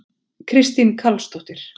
Kristín Karlsdóttir